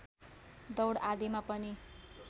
दौड आदिमा पनि